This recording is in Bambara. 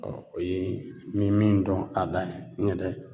Ɔ o ye n be min dɔn a la u yɛrɛ